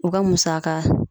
O ka musaka